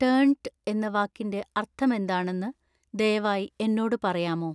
turnt എന്ന വാക്കിന്റെ അർത്ഥമെന്താണെന്ന് ദയവായി എന്നോട് പറയാമോ